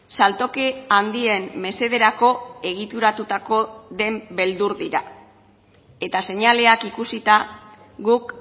saltoki handien mesederako egituratutako den beldur dira eta seinaleak ikusita guk